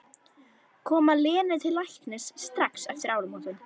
Koma Lenu til læknis strax eftir áramótin.